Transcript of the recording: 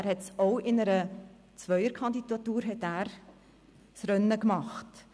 Er hat ebenfalls in einer Zweierkandidatur das Rennen gemacht.